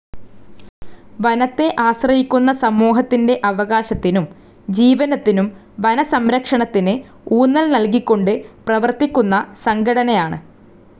വനത്തെ ആശ്രയിക്കുന്ന സമൂഹത്തിന്റെ അവകാശത്തിനും ജീവനത്തിനും വനസംരക്ഷണത്തിന് ഊന്നൽ നൽകിക്കൊണ്ട് പ്രവർത്തിക്കുന്ന സംഘടനയാണ്.